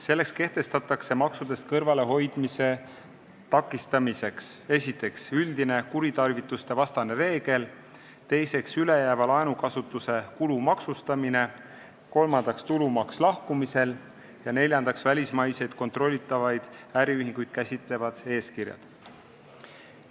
Selleks kehtestatakse maksudest kõrvalehoidmise takistamiseks, esiteks, üldine kuritarvitustevastane reegel, teiseks, ülejääva laenukasutuse kulu maksustamine, kolmandaks, tulumaks lahkumisel, ja neljandaks, välismaiseid kontrollitavaid äriühinguid käsitlevad eeskirjad.